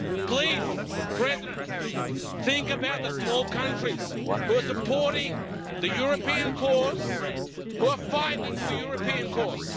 Please, Mr President, think about the small countries who are supporting the European course and who are fighting for the European course.